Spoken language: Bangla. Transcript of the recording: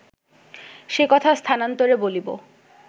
সে কথা স্থানান্তরে বলিব